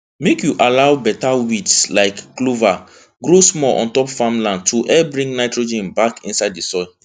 make you allow better weeds like clover grow small on top farm land to help bring nitrogen back inside di soil